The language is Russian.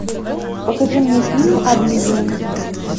покажи мне фильм обливион